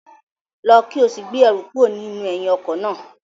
Lọ ki o si gbe ẹru kuro ninu ẹhin ọkọ naa!